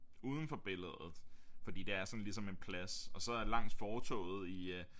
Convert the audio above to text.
Uden for billedet fordi det er sådan ligesom en plads og så langs fortorvet i øh